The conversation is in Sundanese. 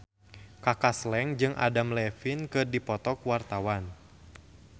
Kaka Slank jeung Adam Levine keur dipoto ku wartawan